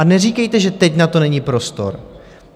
A neříkejte, že teď na to není prostor.